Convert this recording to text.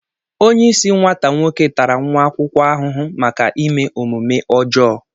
onye isi nwata nwoke tàrà nwa akwukwo ahụhụ maka ime omume ojoo